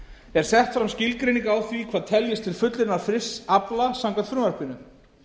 er sett fram skilgreining á því hvað teljist til fullunnins frysts afla samkvæmt frumvarpinu